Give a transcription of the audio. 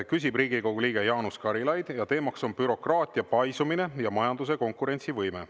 Küsib Riigikogu liige Jaanus Karilaid ja teemaks on bürokraatia paisumine ja majanduse konkurentsivõime.